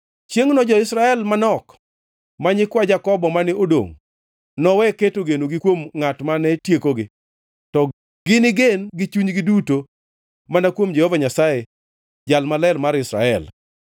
Chiengʼno jo-Israel manok, ma nyikwa Jakobo mane odongʼ, nowe keto genogi kuom ngʼat mane tiekogi, to gini gen gi chunygi duto mana kuom Jehova Nyasaye, Jal Maler mar Israel.